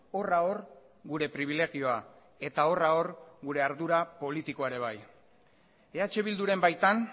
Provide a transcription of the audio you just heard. horra hor gure pribilegioa eta horra hor gure ardura politikoa ere bai eh bilduren baitan